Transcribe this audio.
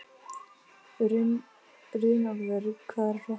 Runólfur, hvað er að frétta?